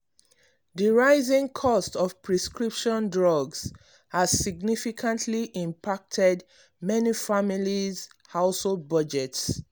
the rising cost of prescription drugs has significantly impacted many families’ household budgets.